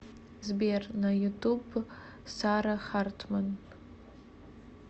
сбер на ютуб сара хартман